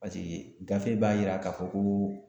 Paseke gafe b'a yira k'a fɔ ko o